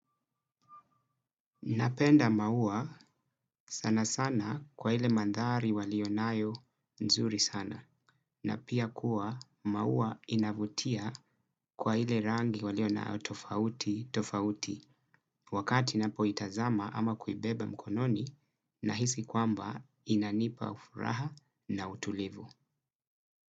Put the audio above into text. Napenda maua, sana sana, kwa ile mandhari walionayo nzuri sana. Na pia kuwa maua inavutia, kwa ile rangi walionayo tofauti tofauti. Wakati napoitazama ama kuibeba mkononi na hisi kwamba, inanipa ufuraha na utulivu.